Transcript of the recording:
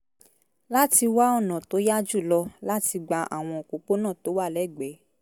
láti wá ọ̀nà tó yá jù lọ láti gba àwọn òpópónà tó wà lẹ́gbẹ̀ẹ́